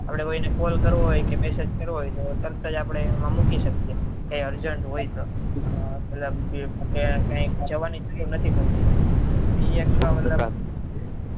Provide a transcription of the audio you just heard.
આપડે કોઈ ને call કરવો હોય કે message તોતરત જ આપડે અમુક કરી શકીએ હોય કઈ urgent હોય તો ક્યાં જવાની જરૂર નથી પડતી એ મતલબ